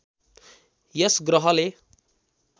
यस ग्रहले